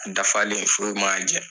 An dafalen foyi m'a jɛ.